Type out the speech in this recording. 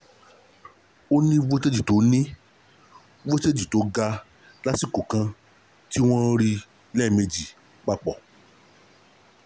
o ni voltage to ni voltage to ga lasiko kan ti won ri leemeji papo